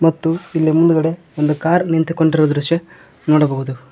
ಮತ್ತು ಇಲ್ಲಿ ಮುಂದ್ಗಡೆ ಒಂದು ಕಾರ್ ನಿಂತುಕೊಂಡಿರುವ ದೃಶ್ಯ ನೋಡಬಹುದು.